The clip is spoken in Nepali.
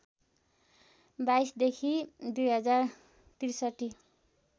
२२ देखि २०६३